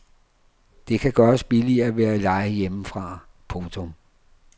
Det kan gøres billigere ved at leje hjemmefra. punktum